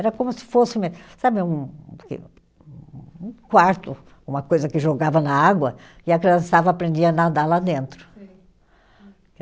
Era como se fosse sabe um um quarto, uma coisa que jogava na água, e a criançada aprendia a nadar lá dentro. Sei